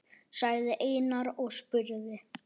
sagði Einar og spurði.